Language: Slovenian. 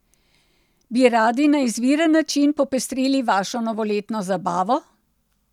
Bi radi na izviren način popestrili vašo novoletno zabavo?